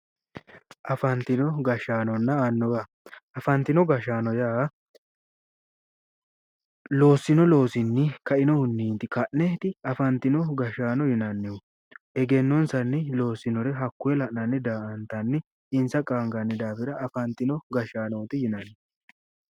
Afanitino gashaanonna annuwa gashaano afanitino gashaano yaa loosino loosinni kainohunni ka'neeniti afanitino gashaano yinanni egennonisanni loosinore hakkoye la'nanni daa'antanni insa qaaniganni daafira afanitino gashaanoti yinanni